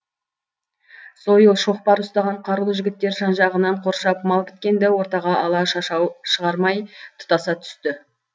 сойыл шоқпар ұстаған қарулы жігіттер жан жағынан қоршап мал біткенді ортаға ала шашау шығармай тұтаса түсті